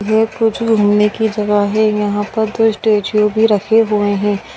ये कुछ घूमने की जगह है यहां पर दो स्टेचू भी रखे हुए है।